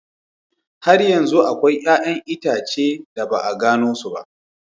Har yanzu akwai 'ƴa'ƴan itace da ba a gano su ba.